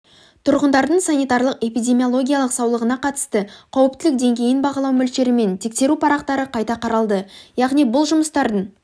тұрғындардың санитарлық-эпидемиологиялық саулығына қатысты қауіптілік деңгейін бағалау мөлшері мен тексеру парақтары қайта қаралды яғни бұл жұмыстардың